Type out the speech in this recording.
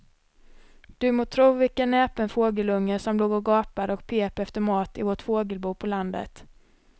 Du må tro vilken näpen fågelunge som låg och gapade och pep efter mat i vårt fågelbo på landet.